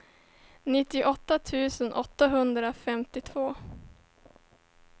nittioåtta tusen åttahundrafemtiotvå